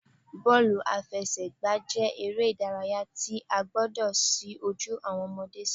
Bọ́ọ̀lù-aláfẹ́sẹ̀gbà jẹ́ eré ìdárayá tí a gbọdọ̀ ṣí ojú awọn ọmọde sí